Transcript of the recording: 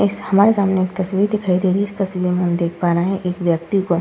इस हमारे सामने एक तस्वीर दिखाई दे रही है। इस तस्वीर में हम देख पा रहे हैं एक व्यक्ति को --